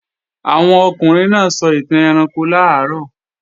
Àwọn ọkùnrin náà sọ ìtàn ẹranko làárọ̀